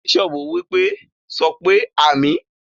Bishop wípé,"sọpé àmín"